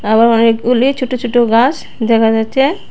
আবার অনেকগুলি ছোট ছোট ঘাস দেখা যাচ্ছে।